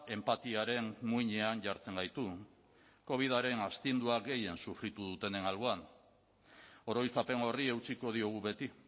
enpatiaren muinean jartzen gaitu covidaren astindua gehien sufritu dutenen alboan oroitzapen horri eutsiko diogu beti